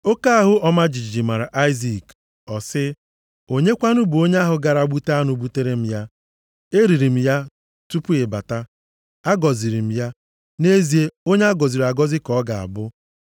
Oke ahụ ọma jijiji mara Aịzik, ọ sị, “Onye kwanụ bụ onye ahụ gara gbute anụ butere m ya? Eriri m ya tupu ị bata. Agọziri m ya. Nʼezie, onye a gọziri agọzi ka ọ ga-abụ.”